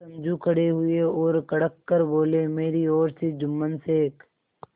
समझू खड़े हुए और कड़क कर बोलेमेरी ओर से जुम्मन शेख